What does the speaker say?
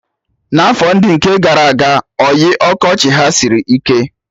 N'afọ ndị nke gara aga, oyi ọkọchị ha sịrị ike